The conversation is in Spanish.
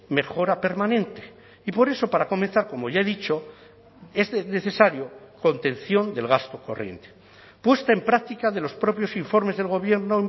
mejora permanente y por eso para comenzar como ya he dicho es necesario contención del gasto corriente puesta en práctica de los propios informes del gobierno